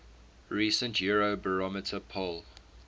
recent eurobarometer poll